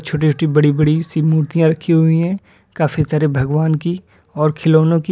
छोटी छोटी बड़ी बड़ी सी मूर्तियां रखी हुई हैं काफी सारे भगवान की और खिलौनो की।